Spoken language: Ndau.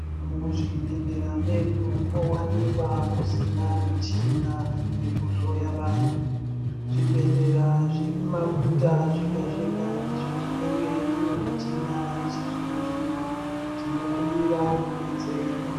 Muzvibhedhlera medu mowanikwa musina michina yekuhloya vantu. Zvibhedhleya zvekumaguta zvega-zvega ndizvo zvinenge zvine michina yechizvino-zvino tinokumbira kubetserwa.